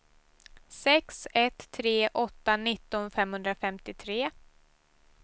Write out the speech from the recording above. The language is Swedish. sex ett tre åtta nitton femhundrafemtiotre